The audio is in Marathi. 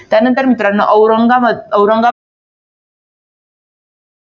त्यानंतर मित्रांनो, औरंगाबाद. औरंगाबाद.